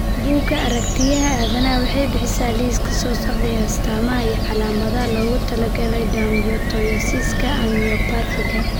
Bugga Aaragtiyaha Aadanaha waxay bixisaa liiska soo socda ee astamaha iyo calaamadaha loogu talagalay dermatomyositiska Amyopathiga.